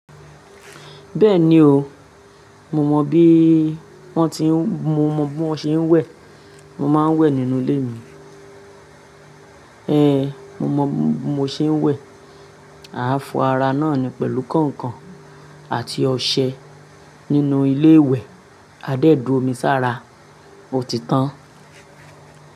Bẹ́ẹ̀ni oo, mo mọ bí wọ́n ti ń, mo mọ bí wọ́n ṣe ń wẹ̀, mo máa ń wẹ̀ nínú ilé mi. Ehn, mo mọ bí mo ṣe ń wẹ̀. Aa fọ ara náà ni pẹ̀lú kànkàn àti ọṣẹ nínú ilé ìwẹ̀. Aa dé d'omi sára, ó ti tán.